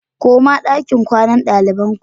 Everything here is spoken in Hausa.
Koma dakin kwanan dalibain ku!